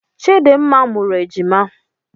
Chidimma mụrụ ejima.